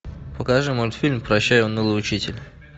покажи мультфильм прощай унылый учитель